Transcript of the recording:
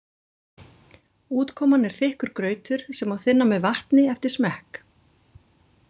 Útkoman er þykkur grautur sem má þynna með vatni eftir smekk.